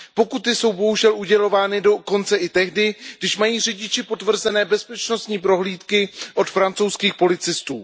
Pokuty jsou, bohužel, udělovány dokonce i tehdy, když mají řidiči potvrzené bezpečnostní prohlídky od francouzských policistů.